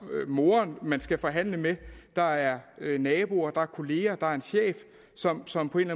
moderen man skal forhandle med der er naboer der er kolleger der er en chef som som på en